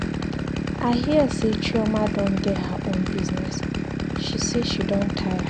I her say Chioma don get her own business, she say she don tire.